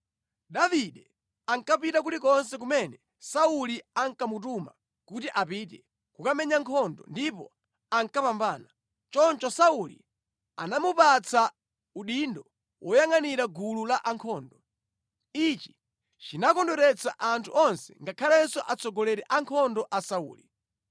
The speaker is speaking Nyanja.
Davide ankapita kulikonse kumene Sauli ankamutuma kuti apite kukamenya nkhondo, ndipo ankapambana. Choncho Sauli anamupatsa udindo woyangʼanira gulu lankhondo. Ichi chinakondweretsa anthu onse ngakhalenso atsogoleri a nkhondo a Sauli.